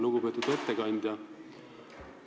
Lugupeetud ettekandja!